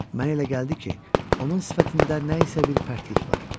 Mənə elə gəldi ki, onun sifətində nə isə bir pərtlik var.